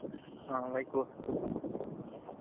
ହଁ ଭାଇ କୁହ।